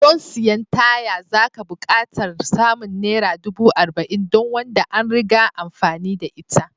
Don siyan taya zaka buƙatar samun Naira ɗubu arba'in don wanda an riga amfani da ita